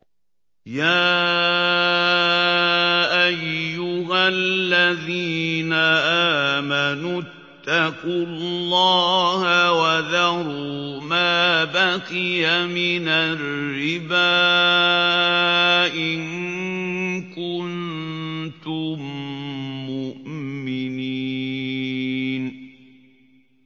يَا أَيُّهَا الَّذِينَ آمَنُوا اتَّقُوا اللَّهَ وَذَرُوا مَا بَقِيَ مِنَ الرِّبَا إِن كُنتُم مُّؤْمِنِينَ